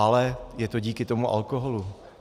Ale je to díky tomu alkoholu.